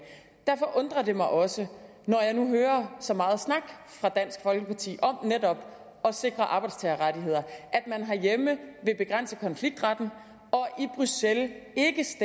derfor undrer det mig også når jeg nu hører så meget snak fra dansk folkeparti om netop at sikre arbejdstagerrettigheder at man herhjemme vil begrænse konfliktretten og